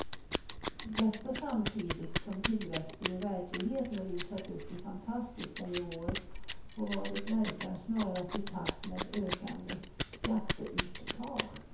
Detta samtidigt som tillväxten i verkligheten rusat upp i fantastiska nivåer och vad det verkar snarast i takt med ökande skatteuttag.